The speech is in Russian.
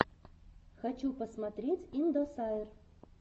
хочу посмотреть индосайр